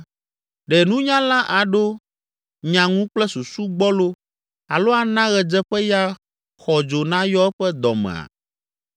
“Ɖe nunyala aɖo nya ŋu kple susu gbɔlo alo ana ɣedzeƒeya xɔdzo nayɔ eƒe dɔ mea?